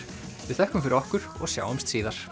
við þökkum fyrir okkur og sjáumst síðar